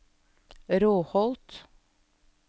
Råholt